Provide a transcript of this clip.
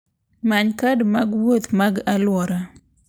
Many kad mag wuoth mag alwora.